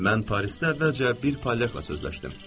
Mən Parisdə əvvəlcə bir polyaka sözləşdim.